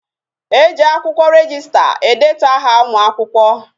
E ji akwụkwọ rejista edetu aha ụmụakwụkwọ